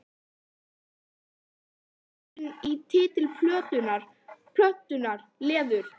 Elín: Er þetta vísun í titil plötunnar, Leður?